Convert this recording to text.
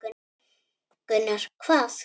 Gunnar: Hvað?